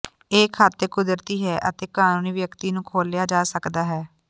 ਇਹ ਖਾਤੇ ਕੁਦਰਤੀ ਹੈ ਅਤੇ ਕਾਨੂੰਨੀ ਵਿਅਕਤੀ ਨੂੰ ਖੋਲ੍ਹਿਆ ਜਾ ਸਕਦਾ ਹੈ